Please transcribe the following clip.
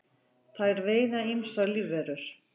þær veiða ýmsar lífverur